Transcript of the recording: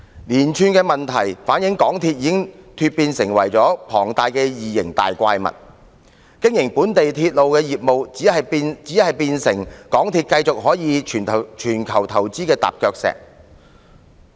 連串問題反映港鐵公司已經成為龐大的異形怪物，經營本地鐵路業務變成港鐵公司可繼續在全球作投資的踏腳石。